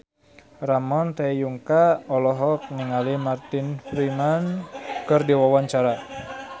Ramon T. Yungka olohok ningali Martin Freeman keur diwawancara